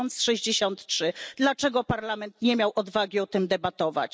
1063. Dlaczego Parlament nie miał odwagi o tym debatować?